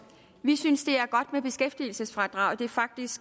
vi synes det er godt med beskæftigelsesfradraget det er faktisk